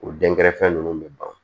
O dɛnkɛrɛfɛ ninnu bɛ ban